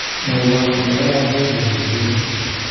Mwowon ole karan soiti ole kipendi